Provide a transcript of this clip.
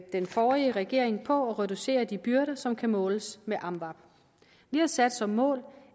den forrige regering på at reducere antallet af de byrder som kan måles med amvab vi har sat som mål